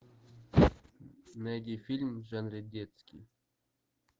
найди фильм в жанре детский